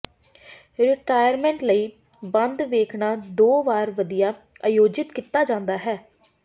retirement ਲਈ ਬੰਦ ਵੇਖਣਾ ਦੋ ਵਾਰ ਵਧੀਆ ਆਯੋਜਿਤ ਕੀਤਾ ਜਾਂਦਾ ਹੈ